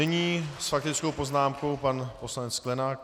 Nyní s faktickou poznámkou pan poslanec Sklenák.